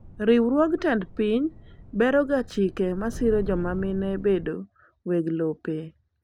Riwruog tend piny beroga chike masiro jomamine bedo weg lope.